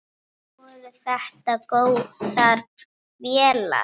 Voru þetta góðar vélar?